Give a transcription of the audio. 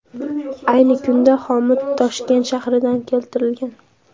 Ayni kunda xomut Toshkent shahridan keltirilgan.